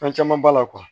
Fɛn caman b'a la